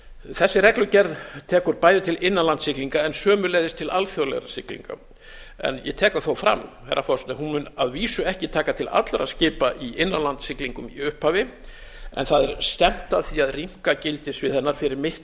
þessi reglugerð tekur bæði til innanlandssiglinga en sömuleiðis til alþjóðlegra siglinga ég tek það þó fram herra forseti að hún mun að vísu ekki taka til allra skipa í innanlandssiglingum í upphafi en það er stefnt að því að rýmka gildissvið hennar fyrir mitt